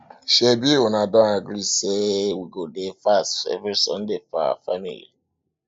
um shebi um una don agree say don agree say we go dey fast every sunday for our family